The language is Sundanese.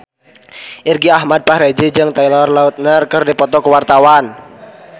Irgi Ahmad Fahrezi jeung Taylor Lautner keur dipoto ku wartawan